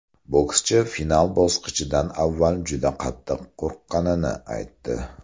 Bokschi final bosqichidan avval juda qattiq qo‘rqqanini aytdi.